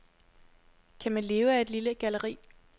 Kan man leve af et lille galleri?